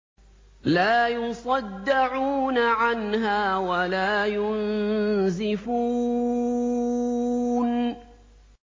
لَّا يُصَدَّعُونَ عَنْهَا وَلَا يُنزِفُونَ